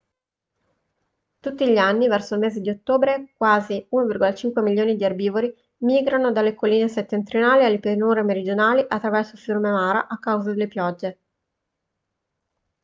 tutti gli anni verso il mese di ottobre quasi 1,5 milioni di erbivori migrano dalle colline settentrionali alle pianure meridionali attraverso il fiume mara a causa delle piogge